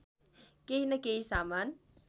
केही न केही सामान